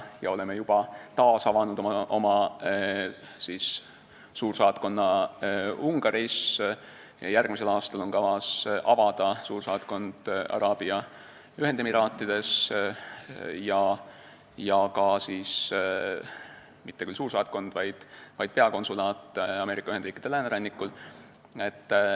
Me oleme juba taasavanud oma suursaatkonna Ungaris, järgmisel aastal on kavas avada suursaatkond Araabia Ühendemiraatides ja seejärel mitte küll suursaatkond, vaid peakonsulaat Ameerika Ühendriikide läänerannikul.